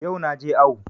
Yau na je awo